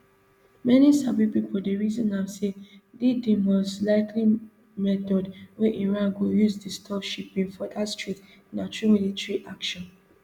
many sabi pipo dey reason am say di di must likely method wey iran go use disturb shipping for dat strait na through military action